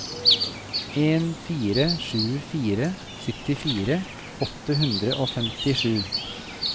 en fire sju fire syttifire åtte hundre og femtisju